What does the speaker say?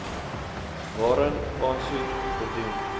waarin aansoek gedoen